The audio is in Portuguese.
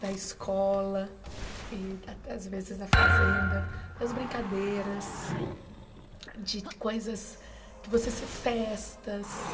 da escola e, às vezes, da fazenda, das brincadeiras, de coisas que você festas.